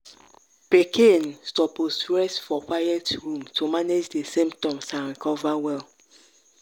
pikin suppose rest for quiet room to manage di symptoms and recover well.